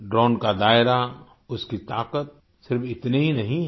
drone का दायरा उसकी ताकत सिर्फ इतनी ही नहीं है